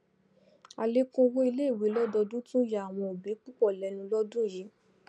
àlékún owó iléìwé lọdọdún tún yà àwọn òbí púpọ lẹnu lódún yìí